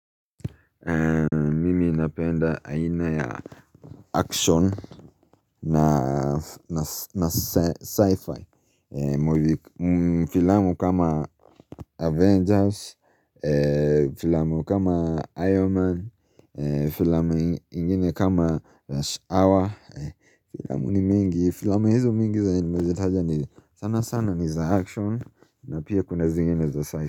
Mimi napenda aina ya action na na sci-fi Filamu kama Avengers Filamu kama Iron Man Filamu ingine kama Rush Hour Filamu ni mingi, filamu hizo mingi zenye nimezitaja ni sana sana ni za action na pia kuna zingine za sci-fi.